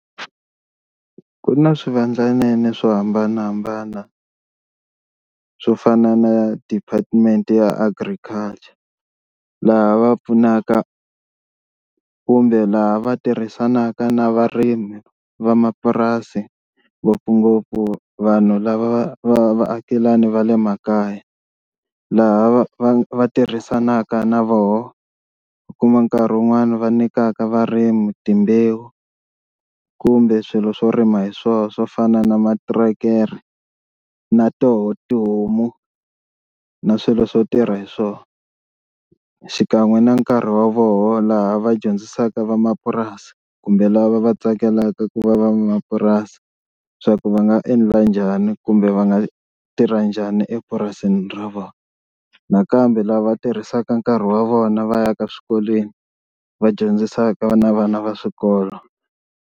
Ku na swivandlanene swo hambanahambana swo fana na Department ya Agriculture laha va pfunaka kumbe laha va tirhisanaka na varimi vamapurasi ngopfungopfu vanhu lava va va vaakelani va le makaya laha va va va tirhisanaka na voho u kuma nkarhi wun'wani va nyikaka varimi timbewu kumbe swilo swo rima hi swona swo fana na materekere na toho tihomu na swilo swo tirha hi swona, xikan'we na nkarhi wa voho laha va dyondzisaka vamapurasi kumbe lava va tsakelaka ku va va mapurasi leswaku va nga endla njhani kumbe va nga tirha njhani epurasini ra vona, nakambe lava tirhisaka nkarhi wa vona va ya ka swikolweni va dyondzisaka na vana va swikolo.